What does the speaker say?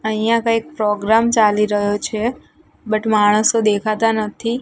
અહિયા કઈક પ્રોગ્રામ ચાલી રહ્યો છે બટ માણસો દેખાતા નથી.